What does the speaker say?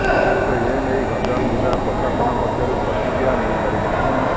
ତେବେ ଏନେଇ ଗଞ୍ଜାମ ଜିଲ୍ଲା ପ୍ରଶାସନ ପକ୍ଷରୁ ପ୍ରତିକ୍ରିୟା ମିଳିପାରିନାହିଁ